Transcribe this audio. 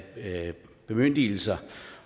bemyndigelser